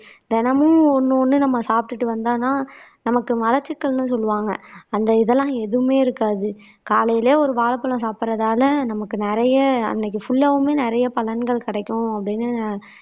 தினமும் ஒண்ணு ஒண்ணு நம்ம சாப்பிட்டுட்டு வந்தாதான் நமக்கு மலச்சிக்கல்ன்னு சொல்லுவாங்க அந்த இதெல்லாம் எதுவுமே இருக்காது. காலையிலேயே ஒரு வாழைப்பழம் சாப்பிடறதால நமக்கு நிறைய அன்னைக்கு புல்லாவுமே நிறைய பலன்கள் கிடைக்கும் அப்படின்னு